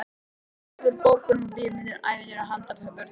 Orð úr bókum og bíómyndum, ævintýrum handa börnum.